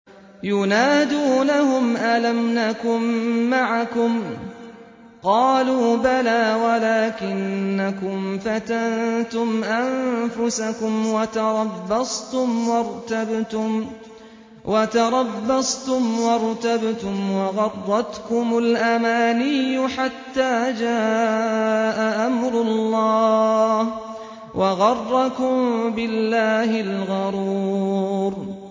يُنَادُونَهُمْ أَلَمْ نَكُن مَّعَكُمْ ۖ قَالُوا بَلَىٰ وَلَٰكِنَّكُمْ فَتَنتُمْ أَنفُسَكُمْ وَتَرَبَّصْتُمْ وَارْتَبْتُمْ وَغَرَّتْكُمُ الْأَمَانِيُّ حَتَّىٰ جَاءَ أَمْرُ اللَّهِ وَغَرَّكُم بِاللَّهِ الْغَرُورُ